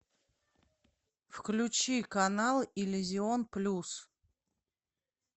включи канал иллюзион плюс